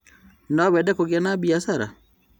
Nowende kũgĩa na biacara?